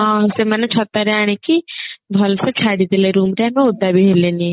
ହଁ ସେମାନେ ଛତାରେ ଆଣିକି ଭଲ ସେ ଛାଡିଦେଲେ room ରେ ଆମେ ଓଦା ବି ହେଲେନି